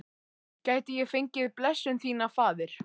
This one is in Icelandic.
Gæti ég fengið blessun þína, faðir?